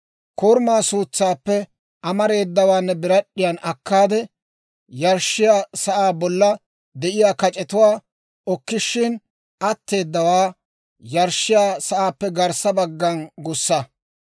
Korumaa suutsaappe amareedawaa ne birad'd'iyaan akkaade, yarshshiyaa sa'aa bolla de'iyaa kac'etuwaa okkishshin atteedawaa yarshshiyaa sa'aappe garssa baggana gussa.